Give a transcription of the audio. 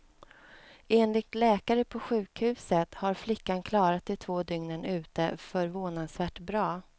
Enligt läkare på sjukhuset har flickan klarat de två dygnen ute förvånansvärt bra.